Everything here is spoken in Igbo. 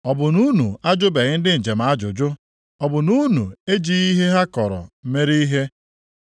Ọ bụ na unu ajụbeghị ndị njem ajụjụ? Ọ bụ na unu ejighị ihe ha kọrọ mere ihe,